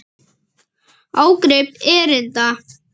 Ágrip erinda.